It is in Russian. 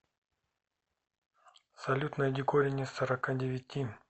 салют найди корень из сорока девяти